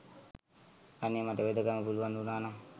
අනේ මට වෙදකම පුළුවන් වුනා නං